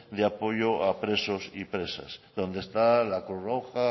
de apoyo a presos y presas donde está la cruz roja